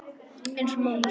Eins og mamma sagði alltaf.